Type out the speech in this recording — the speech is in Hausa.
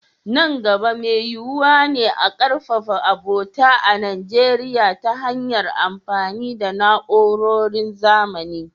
Nan gaba, mai yiyuwa ne a ƙarfafa abota a Najeriya ta hanyar amfani da na’urorin zamani.